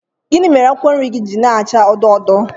Gịnị mere akwụkwọ nri gị ji na-acha odo odo